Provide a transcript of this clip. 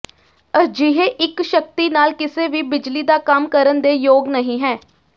ਅਜਿਹੇ ਇੱਕ ਸ਼ਕਤੀ ਨਾਲ ਕਿਸੇ ਵੀ ਬਿਜਲੀ ਦਾ ਕੰਮ ਕਰਨ ਦੇ ਯੋਗ ਨਹੀ ਹੈ